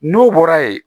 N'o bɔra yen